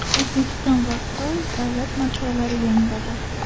O‘zbekiston va Xitoy davlat madhiyalari yangradi.